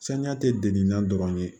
Saniya tɛ deli na dɔrɔn ye